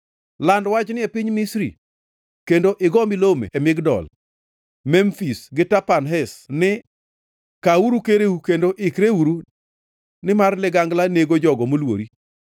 “Land wachni e piny Misri, kendo igo milome e Migdol; Memfis gi Tapanhes ni: ‘Kawuru kereu kendo ikreuru, nimar ligangla nego jogo molwori.’